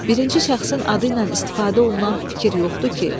Birinci şəxsin adı ilə istifadə olunan fikir yoxdur ki?